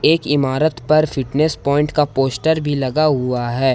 एक इमारत पर फिटनेस पॉइंट का पोस्टर भी लगा हुआ है।